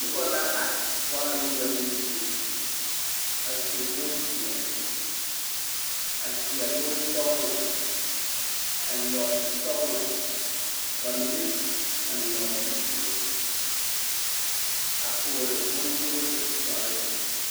Noba la are bͻl ŋmeԑbo zie, a su bompeԑle. A seԑ bonsͻgelͻ a eŋ nͻͻte sͻgelͻ. Ka ba mine eŋ nͻͻte zeere a toore bontoore dͻre.